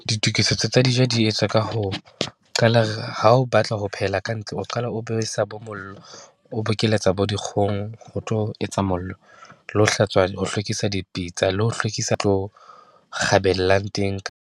Ditokisetso tsa dijo di etswa ka ho qala re, ha o batla ho phehela ka ntle, o qala o besa bo mollo, o bokeletsa bo dikgong, ho tlo etsa mollo le ho hlatswa, ho hlwekisa, dipitsa le ho hlwekisa kgabellang teng.